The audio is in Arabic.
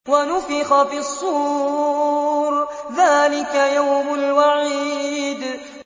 وَنُفِخَ فِي الصُّورِ ۚ ذَٰلِكَ يَوْمُ الْوَعِيدِ